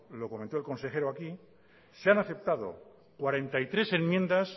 lo comentó el consejero aquí se han aceptado cuarenta y tres enmiendas